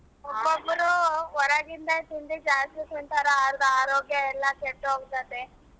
ಒಬ್ಬೊಬ್ರು ಹೊರಗಿನ ತಿಂಡಿ ಜಾಸ್ತಿ ತಿಂತಾರಾ ಅರ್ಧ ಆರೋಗ್ಯ ಎಲ್ಲಾ ಕೆಟ್ಟೋಗ್ಬೀಡುತ್ತೆ.